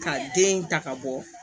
Ka den ta ka bɔ